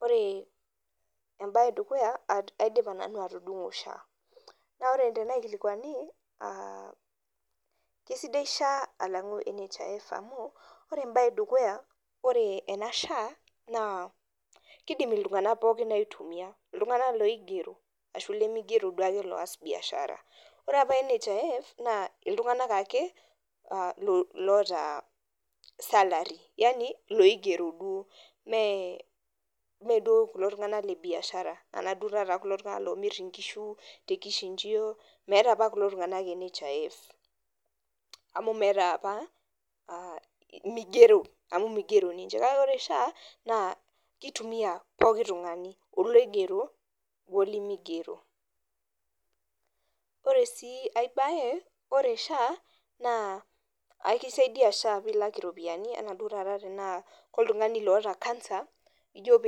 Ore embae edukuya aidipa nanu atudungo sha ore embae edukuya kesidai sha alangu nhif ore embae edukuya ore enashaa na kidim ltunganak pooki aitumila ltunganak limigero kidim ataas biashara oee qpa nhif na ltunganak apa loigero duo mee duo kulo tunganak lebiashara amu migero ninche kake ore sha kitumia pooki tunganu oigero olimigero ore si aibae ore sha aisaidia sha pilak iropiyani tanaa oltungani oata kansa ijo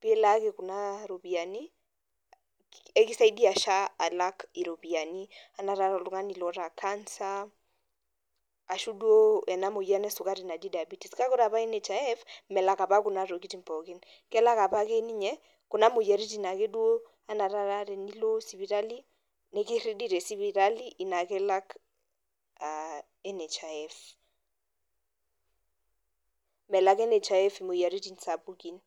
pilaki kuna ropiyani ekisaidii sha alak iropiyiani anaa nai oltungani oata kansa kak ore apa nhif melak apa ntokitin pooki kelak apa ninye kuna moyiaritin ake duo anaa enilo sipitali nikiridi tesipitali ina ake elak nhif melak nhif moyiaritin sapukin.